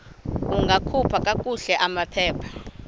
ungakhupha kakuhle amaphepha